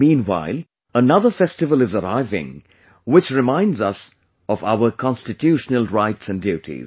Meanwhile, another festival is arriving which reminds us of our constitutional rights and duties